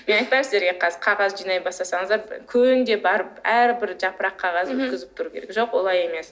мен айтпаймын сіздерге қазір қағаз жинай бастасаңыздар күнде барып әрбір жапырақ қағазды өткізіп тұру керек жоқ олай емес